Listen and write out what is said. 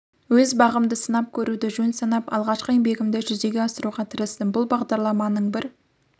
өз бағымды сынап көруді жөн санап алғашқы еңбегімді жүзеге асыруға тырыстым бұл бағдарламаның бір